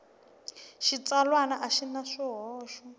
xitsalwana a xi na swihoxo